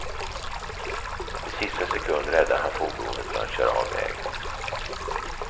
I sista sekund räddade han fordonet från att köra av vägen.